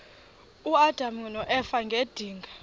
uadam noeva ngedinga